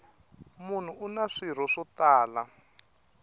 munhu una swirho swo tala